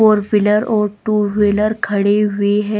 Four wheeler और two wheeler खड़ी हुयी है.